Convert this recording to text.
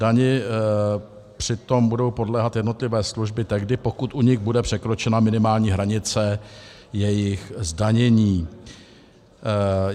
Dani přitom budou podléhat jednotlivé služby tehdy, pokud u nich bude překročena minimální hranice jejich zdanění.